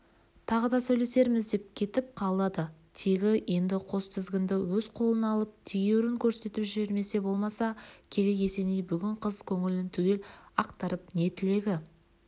тағы да сөйлесерміз деп кетіп қалады тегі енді қос тізгінді өз қолына алып тегеурін көрсетіп жібермесе болмаса керек есеней бүгін қыз көңілін түгел ақтарып не тілегі